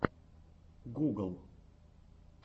гугл